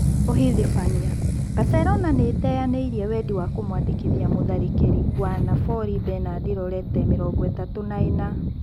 (ũhithibania) Baselona nĩĩteyanĩirie wendi wa kũmwandĩkithia mũtharĩkĩri wa Nabori Benard Lorete, mĩrongoĩtatu na-ĩna.